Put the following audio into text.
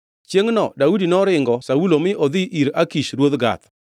Chiengʼno Daudi noringo Saulo mi odhi ir Akish ruoth Gath.